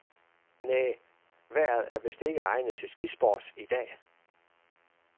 Næh, vejret er vist ikke egnet til skisport i dag.